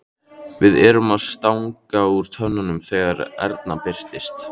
Við erum að stanga úr tönnunum þegar Erna birtist.